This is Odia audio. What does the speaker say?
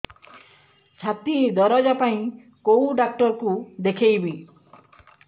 ଛାତି ଦରଜ ପାଇଁ କୋଉ ଡକ୍ଟର କୁ ଦେଖେଇବି